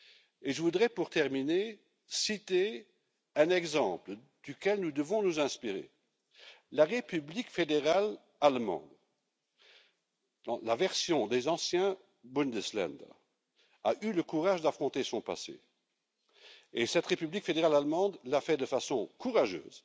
Et je voudrais, pour terminer, citer un exemple dont nous devons nous inspirer la République fédérale d'Allemagne, la version des anciens Bundesländer a eu le courage d'affronter son passé, et cette République fédérale d'Allemagne l'a fait de façon courageuse,